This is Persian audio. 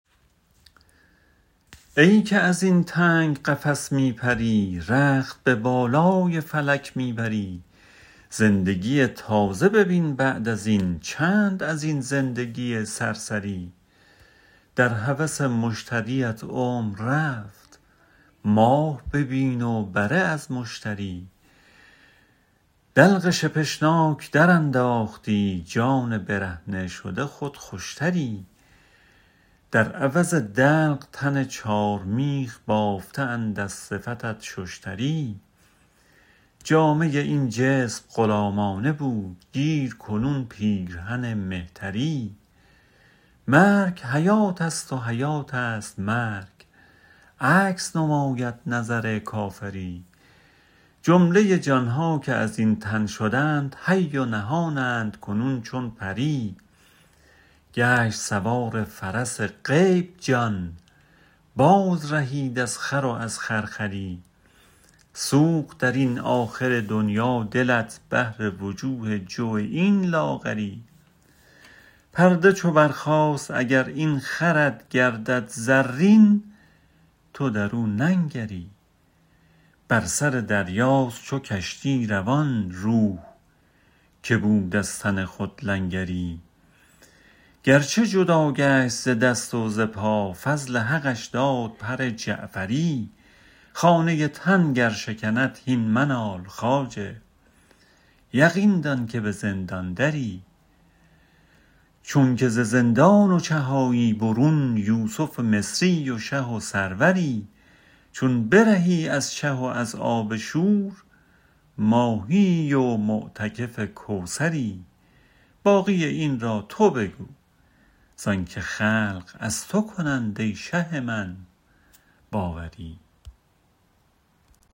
ای که ازین تنگ قفس می پری رخت به بالای فلک می بری زندگی تازه ببین بعد ازین چند ازین زندگی سرسری در هوس مشتریت عمر رفت ماه ببین و بره از مشتری دلق شپشناک درانداختی جان برهنه شده خود خوشتری در عوض دلق تن چار میخ بافته اند از صفتت ششتری جامه این جسم غلامانه بود گیر کنون پیرهن مهتری مرگ حیاتست و حیاتست مرگ عکس نماید نظر کافری جمله جانها که ازین تن شدند حی و نهانند کنون چون پری گشت سوار فرس غیب جان باز رهید از خر و از خرخری سوخت درین آخر دنیا دلت بهر وجوه جو این لاغری پرده چو برخاست اگر این خرت گردد زرین تو درو ننگری بر سر دریاست چو کشتی روان روح که بود از تن خود لنگری گرچه جدا گشت ز دست و ز پا فضل حقش داد پر جعفری خانه تن گر شکند هین منال خواجه یقین دان که به زندان دری چونک ز زندان و چه آیی برون یوسف مصری و شه و سروری چون برهی از چه و از آب شور ماهیی و معتکف کوثری باقی این را تو بگو زانک خلق از تو کنند ای شه من باوری